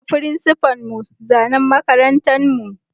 Na yi ma frincipa'n mu zanan makarantan mu.